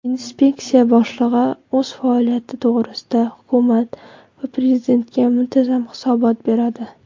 Inspeksiya boshlig‘i o‘z faoliyati to‘g‘risida Hukumat va Prezidentga muntazam hisobot beradi.